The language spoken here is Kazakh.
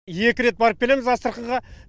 екі рет барып келеміз астраханьға